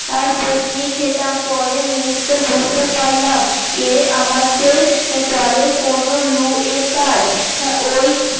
আর বকুনি খেতাম পরের মুহুরতে বুজতে পারলাম এ আমাদের দলের কোন লু এর কাজ ওই